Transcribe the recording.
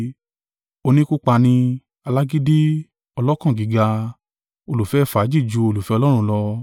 oníkúpani, alágídí, ọlọ́kàn gíga, olùfẹ́ fàájì ju olùfẹ́ Ọlọ́run lọ.